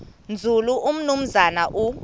nzulu umnumzana u